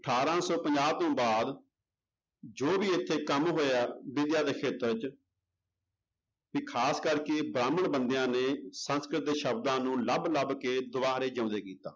ਅਠਾਰਾਂ ਸੌ ਪੰਜਾਹ ਤੋਂ ਬਾਅਦ ਜੋ ਵੀ ਇੱਥੇ ਕੰਮ ਹੋਇਆ ਦੇ ਖੇਤਰ ਚ ਵੀ ਖ਼ਾਸ ਕਰਕੇ ਬ੍ਰਾਹਮਣ ਬੰਦਿਆਂ ਨੇ ਸੰਸਕ੍ਰਿਤ ਦੇ ਸ਼ਬਦਾਂ ਨੂੰ ਲੱਭ ਲੱਭ ਕੇ ਦੁਬਾਰੇ ਜਿਉਂਦੇ ਕੀਤਾ।